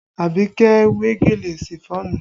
Abike we gèlè Ṣifọ́ọ̀nù